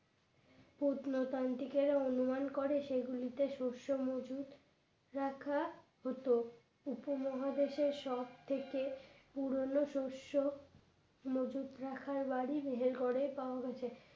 পত্নতান্ত্রিকের অনুমান করে সেগুলিতে শস্য মজুদ রাখা হতো উপমহাদেশের সবথেকে পুরনো শস্য মজুদ রাখার বাড়ি মেহেরগড় এ পাওয়া গেছে